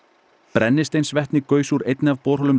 brennisteinsvetni gaus úr einni af borholum